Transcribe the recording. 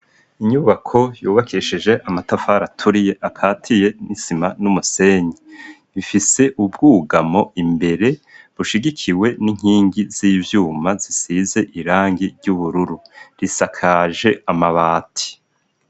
Inyubako yubakesheje amatafara aturiye akatiye n'isima n'umusenyi bifise ubwugamo imbere bushigikiwe n'inkingi z'ivyuma zisize irangi ry'ubururu risakaje amabati.